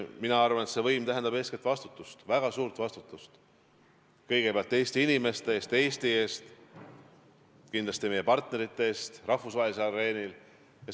Mina arvan, et see tähendab eeskätt vastutust, väga suurt vastutust kõigepealt Eesti inimeste eest, Eesti eest, ja kindlasti ka meie partnerite eest rahvusvahelisel areenil.